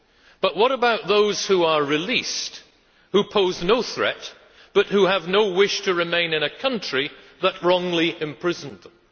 But what about those who are released, who pose no threat, but who have no wish to remain in a country that wrongly imprisoned them?